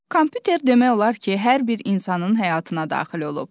Kompüter demək olar ki, hər bir insanın həyatına daxil olub.